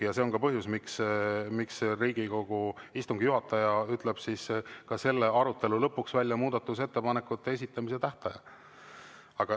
Ja see on ka põhjus, miks Riigikogu istungi juhataja ütleb ka selle arutelu lõpuks välja muudatusettepanekute esitamise tähtaja.